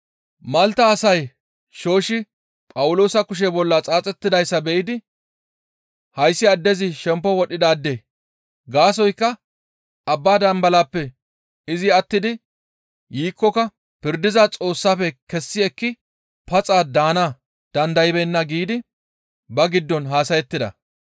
Malta asay shooshshi Phawuloosa kushe bolla xaaxettidayssa be7idi, «Hayssi addezi shemppo wodhidaade; gaasoykka abba dambalaappe izi attidi yiikkoka pirdiza Xoossafe kessi ekki paxa daana dandaybeenna» giidi ba giddon haasayettida